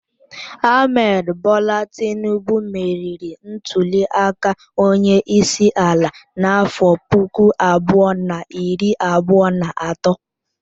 Ahmed Bola Tinubu meriri ntuliaka onyeisiala n'afọ puku abụọ na iri abụọ na atọ.